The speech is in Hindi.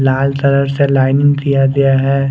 लाल कलर का लाईलिंग किया गया है।